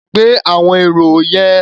Gbé àwọn èrò yẹn.